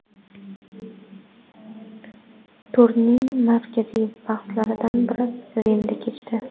Turning markaziy bahslaridan bir Rimda kechdi.